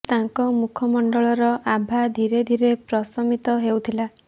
ତାଙ୍କ ମୁଖ ମଣ୍ଡଳର ଆଭା ଧୀରେ ଧୀରେ ପ୍ରଶମିତ ହେଉଥିଲା